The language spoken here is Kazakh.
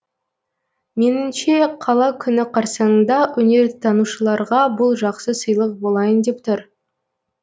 меніңше қала күні қарсаңында өнертанушыларға бұл жақсы сыйлық болайын деп тұр